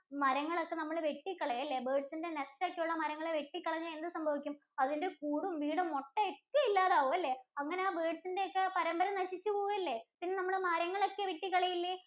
മരങ്ങൾ ഒക്കെ നമ്മൾ വെട്ടി കളയുക അല്ലേ birds ന്‍റെ nest ഒക്കെ ഉള്ള മരങ്ങൾ വെട്ടി കളഞ്ഞാൽ എന്ത് സംഭവിക്കും? അതിന്‍റെ കൂടും വീടും കൂടും മൊത്തം ഒക്കെ ഇല്ലാണ്ടാവും അല്ലേ? അങ്ങനെ ആ birds ഇന്‍റെ ഒക്കെ പരമ്പര നശിച്ച് പോവും അല്ലേ. പിന്നെ നമ്മൾ മരങ്ങൾ ഒക്കെ വെട്ടി കളയും അല്ലേ.